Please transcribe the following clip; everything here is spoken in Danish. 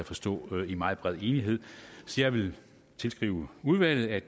forstå i meget bred enighed så jeg vil tilskrive udvalget